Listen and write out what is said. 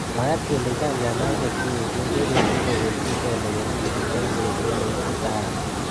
Mwaat kele chang chamaishek cheechen chebendi kobeljinkei lewenishet eng betut neititaat.